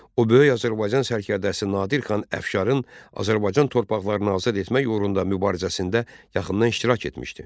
O böyük Azərbaycan sərkərdəsi Nadir xan Əfşarın Azərbaycan torpaqlarını azad etmək uğrunda mübarizəsində yaxından iştirak etmişdi.